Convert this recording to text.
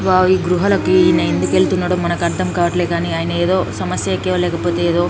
wow గృహలకి ఈయన ఎందుకు వెళ్తున్నాడో మనకు అర్థం కావట్లేదని ఆయన ఏదో సమస్యకే లేకపోతే ఏదో --